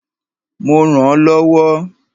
Mo rànán lọ́wọ́.